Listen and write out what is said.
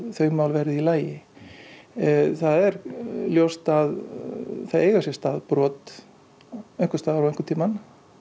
þau mál verði í lagi það er ljóst að það eiga sér stað brot einhvers staðar og einhvern tímann